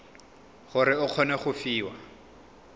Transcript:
gore o kgone go fiwa